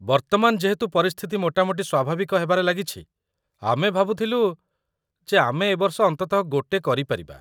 ବର୍ତ୍ତମାନ ଯେହେତୁ ପରିସ୍ଥିତି ମୋଟାମୋଟି ସ୍ୱାଭାବିକ ହେବାରେ ଲାଗିଛି, ଆମେ ଭାବୁଥିଲୁ ଯେ ଆମେ ଏବର୍ଷ ଅନ୍ତତଃ ଗୋଟେ କରିପାରିବା।